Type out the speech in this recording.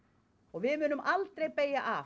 við munum aldrei beygja af